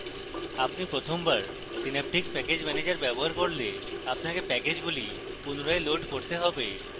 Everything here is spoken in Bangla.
আপনি প্রথমবার synaptic package manager ব্যবহার করলে আপনাকে প্যাকেজগুলি পুনরায় লোড করতে হবে